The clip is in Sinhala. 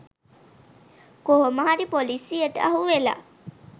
කොහොම හරි පොලිසියට අහුවෙලා